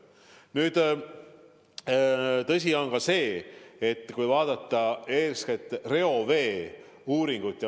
Nüüd, tõsi on see, et kui vaadata eeskätt reoveeuuringut ...